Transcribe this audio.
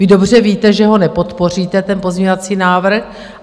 Vy dobře víte, že ho nepodpoříte, ten pozměňovací návrh.